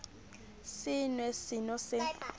se nw e seno se